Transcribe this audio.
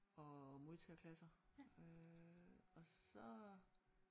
Og modtagerklasser øh og så